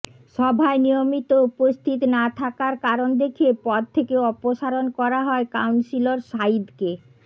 সভায় নিয়মিত উপস্থিত না থাকার কারণ দেখিয়ে পদ থেকে অপসারণ করা হয় কাউন্সিলর সাঈদকে